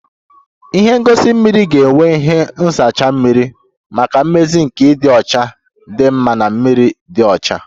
Ihe ngosi mmiri ga-enwe ihe nzacha mmiri maka mmezi nke ịdị ọcha dị mma na mmiri dị ọcha